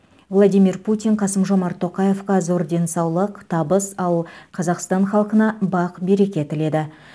владимир путин қасым жомарт тоқаевқа зор денсаулық табыс ал қазақстан халқына бақ береке тіледі